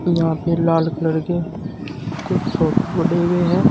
यहां पे लाल कलर के कुछ सोफे पड़े हुए हैं।